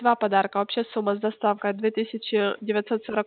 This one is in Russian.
два подарка а вообще сумма с доставкой две тысячи девятьсот сорок